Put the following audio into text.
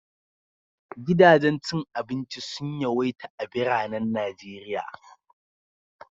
Gidajen cin abinci sun yawaita a biranen Najeriya.